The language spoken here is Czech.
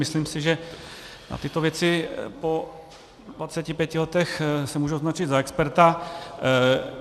Myslím si, že na tyto věci po 25 letech se můžu označit za experta.